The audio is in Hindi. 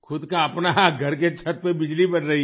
खुद का अपना घर के छत पर बिजली बन रही है